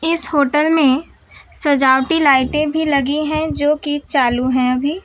इस होटल में सजावटी लाइटे भी लगी है जोकि चालू है अभी --